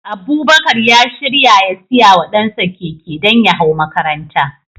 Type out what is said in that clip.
Abubakar ya shirya ya siya wa dansa keke, don ya hau makaranta.